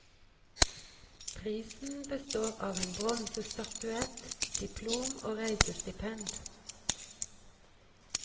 Prisen består av en bronsestatuett, diplom og reisestipend.